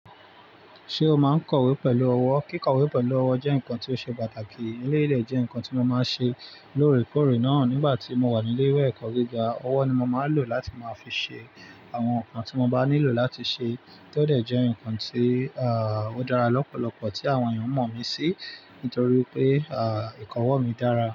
Ṣé o máa ń kọ̀wé pẹ̀lú ọwọ́? Kíkọ̀wé pẹ̀lú ọwọ́ jẹ́ nǹkan tí ó ṣe pàtàkì. Éle dẹ jẹ́ nǹkan tí mo máa ń ṣe lóòrèkóòrè náà nígbà tí mo wà ní ilé ìwé ẹ̀kọ́ gíga. Ọwọ́ ni mo máa ń lò láti máa fi ṣe àwọn nǹkan tí mo bá nílò láti ṣe tó dẹ̀ jẹ́ nǹkan tí, ààh, ó dára lọ́pọ̀lọpọ̀ tí àwọn ènìyàn mọ̀ mí sí nítorí pé, ààh, ìkọ̀wọ́ mi dára.